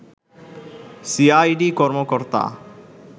CID কর্মকর্তা